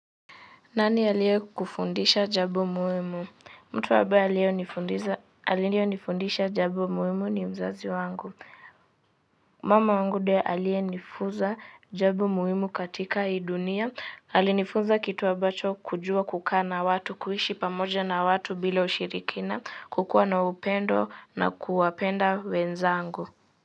Nani aliye kufundisha jambo muhimu mtu ambaye aliye nifundisha jambo muhimu ni mzazi wangu. Mama wangu ndiye aliye nifunza jambo muhimu katika hii dunia. Alinifunza kitu ambacho kujua kukaa na watu, kuishi pamoja na watu bila ushirikina, kukua na upendo na kuwapenda wenzangu.